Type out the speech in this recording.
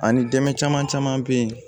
Ani dɛmɛ caman caman be ye